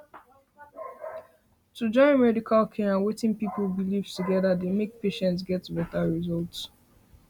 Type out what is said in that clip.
to join medical care and wetin people believe together dey make patients get better results